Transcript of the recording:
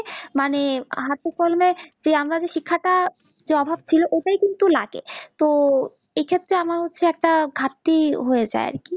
মানে হাতে কলমে যে আমরা যে শিক্ষা টা যে অভাব ছিল ওটাই কিন্তু লাগে তো এ ক্ষেত্রে আমার হচ্ছে একটা ঘাটতি হয়ে যাই আরকি